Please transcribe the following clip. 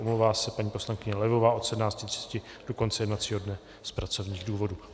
Omlouvá se paní poslankyně Levová od 17.30 do konce jednacího dne z pracovních důvodů.